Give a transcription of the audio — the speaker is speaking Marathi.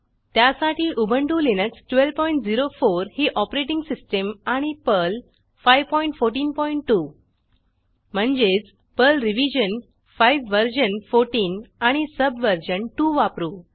त्यासाठी उबंटु लिनक्स 1204 ही ऑपरेटिंग सिस्टीम आणि पर्ल 5142 म्हणजेच पर्ल रिव्हीजन 5 वर्जन 14 आणि सबवर्जन 2 वापरू